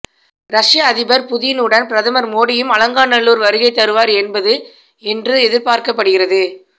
ஷ்ய அதிபர் புதின் உடன் பிரதமர் மோடியும் அலங்காநல்லூர் வருகை தருவார் என்பது என்று எதிர்பார்க்கப்படுகிறது